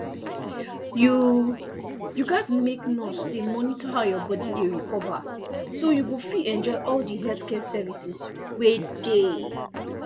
you you gatz make nurse dey monitor how your body dey recover so you go fit enjoy all di health service wey dey